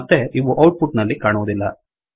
ಮತ್ತೆ ಇವು output ನಲ್ಲಿ ಕಾಣುವುದಿಲ್ಲ